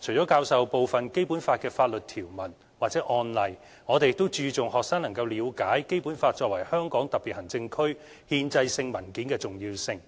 除了教授部分《基本法》的法律條文或案例，我們也注重學生能夠了解《基本法》作為香港特別行政區憲制性文件的重要性，